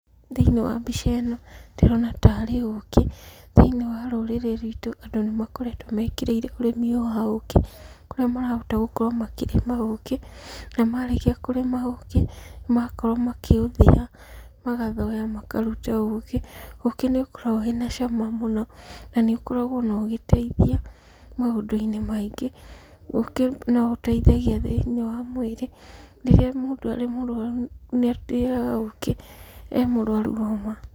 Thĩiniĩ wa mbica ĩno, ndĩrona taarĩ ũũkĩ. Thĩiniĩ wa rũrĩrĩ rwitũ andũ nĩ makoretwo mekĩrĩĩre ũrĩmi ũyũ wa ũũkĩ, kũrĩa makahota gũkorwo makĩrĩma ũũkĩ, na marĩkia kũrĩma ũũkĩ, magakorwo makĩũthia, magathoya makaruta ũũkĩ. Ũũkĩ nĩ ũkoragwo wĩna cama mũno, na nĩ ũkoragwo ona ũgĩteithia maũndũ-inĩ maingĩ. Ũũkĩ no ũteithagia thĩiniĩ wa mwĩrĩ, rĩrĩa mũndũ arĩ mũrwaru nĩarĩaga ũũkĩ e mũrwaru homa.